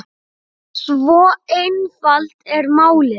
Svo einfalt er málið.